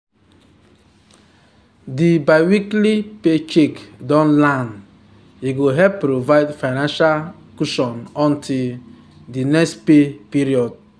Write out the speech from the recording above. di biweekly paycheck don land e go help provide financial cushion until di next pay period